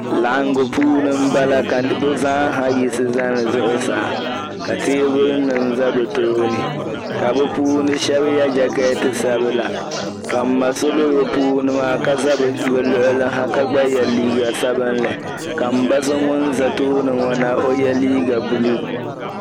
Laɣingu puuni m-bala ka bɛ zaa yiɣisi zani zuɣusaa ka teebulinima za bɛ tooni ka bɛ puuni shɛb' ye jakɛɛti sabila ka m-ma so be bɛ puuni maa ka za bɛ luɣuli ha ka gba ye liiga sabinli ka m-ba so ŋun za tooni ŋo na o ye liiga buluu.